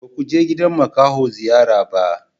Ba ku je gidan makaho ziyara ba?